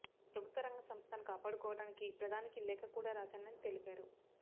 ప్రభుత్వ రంగ సంస్థను కాపాడుకోవడానికి ప్రధానికి లేఖ కూడా రాశానని తెలిపారు